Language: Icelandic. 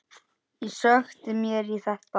Ég sökkti mér í þetta.